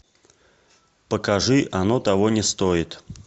покажи оно того не стоит